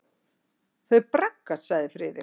Þau braggast sagði Friðrik.